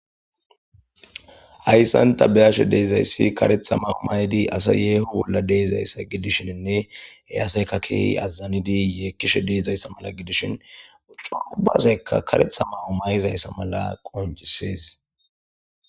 Ayssan tabiyashe deezayssi karetha mao maydi asa yeeho bolla deezayssa gidishinne he aseyka keehi azazanidi yee kishe deezayssa mala gidishin uccu ubazekka karetha mahu mayizayssa mala qoncisees.